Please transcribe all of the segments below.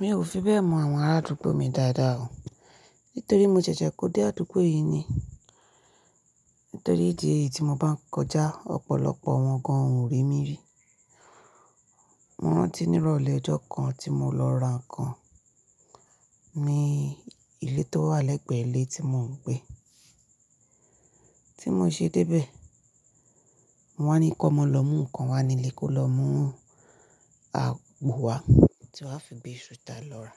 Mi ò fi bẹ́ẹ̀ mọ àwọn arádúgbò mi dáadáa o. Nítorí mo ṣẹ̀ṣẹ̀ kó dé àdúgbò yìí ni. Nítorí ìdí èyí tí mo bá ń kọjá ọ̀pọ̀lọpọ̀ wọn gan-an ò rí mi rí. Mo rántí ní ìrọ̀lẹ́ ọjọ́ kan tí mo lọ ra ǹkan ní ilé tó wà lẹ́gbẹ̀ẹ́ ilé tí mò ń gbé. Tí mo ṣe dé bẹ́ẹ̀, wọ́n wá ní kó mo lọ mú ǹkan wá nílé kó lọ mú àgbo wá tí wọ́n á fi gbé sùtá lọ́ra.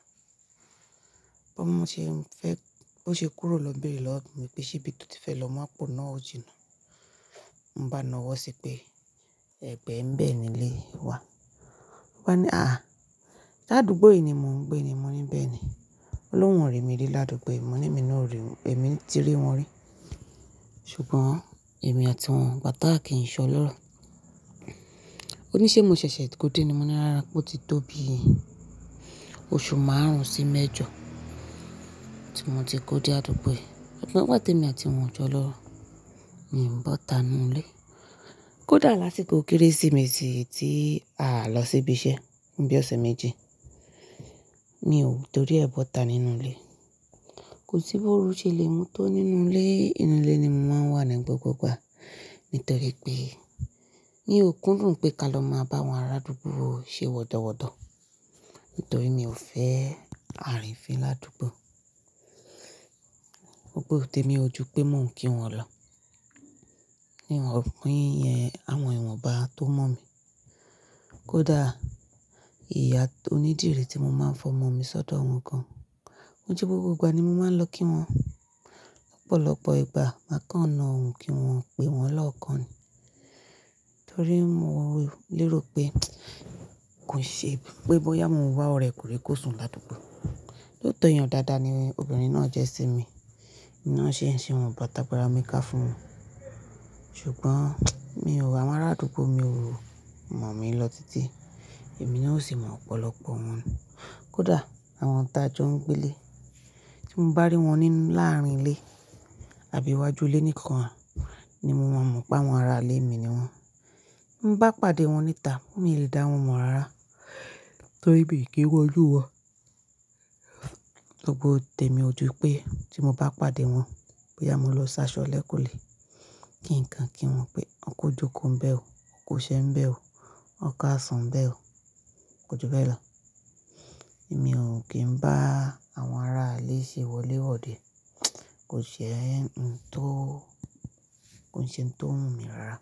Bí mo ṣe ń fẹ́, bó ṣe kúrò lọ bẹ́ẹ̀re lọ́, mi pé ṣíbí tò ti fẹ́ lọ mú àpò náà ó jìnà. Mo bá a nọ́wọ́ sí pé ẹ̀bẹ̀ ń bẹ́ nílé wa. Ó bá ní, "àáà, se ádúgbò yìí ni mò ń gbé ni." Mo ní bẹ́ẹ̀ ni. Òun ló wọn rí mi rí l'ádúgbò yìí, mo ní èmi náà ò rí ẹ mi tí rí wọn rí. Ṣùgbọ́n èmi àti wọn igbà tà kì í ṣọ lọ́ro. Ó ní ṣé mo ṣẹ̀ṣẹ̀ kó dé ni? Mo ní rárá, bó ti tó bi oṣù márùn-ún sí mẹ́jọ tí mo ti kó dé àdúgbò yìí. Òun bá pàtẹ mi àti wọn jọ lọ, mi ń bọ́ta nínú ilé. Kódà lásìkò Kérésìmesì tí a lọ síbi iṣẹ́ ní bí ọ̀sẹ̀ méjì, mi ò torí ẹ́ bọ́ta nínú ilé. Kò sí bí òru ṣe lè mú tó nínú ilé. Inú ilé ni mo máa ń wà ní gbogbo igbà. Nítorí pé ní òkun rùn pé ka lọ máa bá àwọn arádúgbò ṣe wọdọwọdọ. Nítorí mi ò fẹ́ àárín fín ládúgbò. Òpò tẹ̀ mí ojú pé mò ń kí wọn lọ. Ni ìwọ̀n pín yẹn, àwọn ìwọ̀n bá tó mọ̀ mi. Kódà ìyá onídìrí tí mo máa ń fọmọ mi sọ́dọ̀ wọn gan-an. Ó jẹ́ gbogbo ìgbà ni mo máa ń lọ kí wọn. Ọ̀pọ̀lọpọ̀ ìgbà má kànna òun kí wọn pé wọn lọ́kan ni. Nítorí mò lérò pé kò ṣe pé bóyá mo wá ọ̀rẹ́ kò lè sùn ládúgbò. Lóòótọ́ èèyàn dáadáa ni obìnrin náà jẹ́ sí mi. Iná ṣe ń ṣe òun, bàtà gbara mi ká fún un. Ṣùgbọ́n mi ò wà, arádúgbò mi ò mọ̀ mí lọ títí. Èmi náà o sì mọ̀ ọ̀pọ̀lọpọ̀ wọn. Kódà àwọn tá tí jó ń gbé lé, tí mo bá rí wọn nínú láàárín ilé àbí iwájú ilé nìkan ni mo máa mọ̀ pé àwọn ará ilé mi ni wọ́n. Mo bá pàdé wọn níta, mi ò lè dá wọn mọ̀ rárá. Torí bí i kí wọlú wọ. Gbogbo tẹ̀ mí ojú pé tí mo bá pàdé wọn, bóyá mo lọ sáṣọ lẹ́kun lé. Kì ǹkan kí wọn pé Ọkọ̀ ojú oko ń bẹ́ ò, ọkọ̀ oṣé ń bẹ́ ò, ọ̀kà sàn ń bẹ́ ò, ọkọ̀ ojúbọ́ ẹ̀ lọ. Èmi ò kí ń bá àwọn ará ilé ṣe wọléwọ̀de. Kò ṣe ń tó, kò ṣe ń tó wunmi mi rárá.